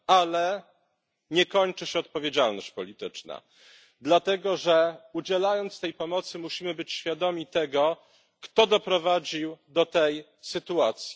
Ale nie kończy się odpowiedzialność polityczna, dlatego że udzielając tej pomocy, musimy być świadomi tego, kto doprowadził do tej sytuacji.